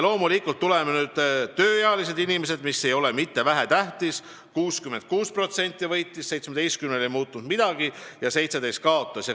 Loomulikult, tuleme nüüd tööealiste inimeste juurde, mis ei ole mitte vähetähtis: 66% võitis, 17%-l ei muutunud midagi ja 17% kaotas.